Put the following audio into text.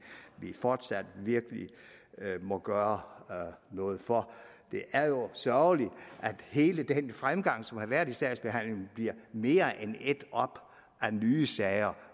vi fortsat virkelig må gøre noget for det er jo sørgeligt at hele den fremgang som har været i sagsbehandlingen bliver mere end ædt op af nye sager